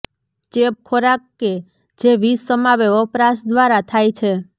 ચેપ ખોરાક કે જે વિષ સમાવે વપરાશ દ્વારા થાય છે